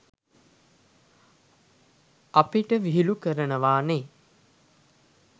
අපිට විහිළු කරනවානේ.